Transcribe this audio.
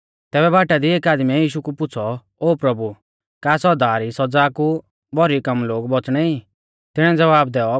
तैबै बाटा दी एकी आदमीऐ यीशु कु पुछ़ौ ओ प्रभु का सौदा री सौज़ा कु भौरी कम लोग बौच़णै ई तिणीऐ ज़वाब दैऔ